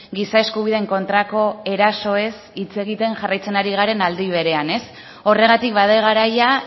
giza eskubideen kontrako erasoez hitz egiten jarraitzen ari garen aldi berean horregatik bada garaia